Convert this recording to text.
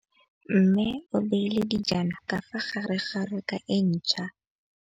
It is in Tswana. Mmê o beile dijana ka fa gare ga raka e ntšha.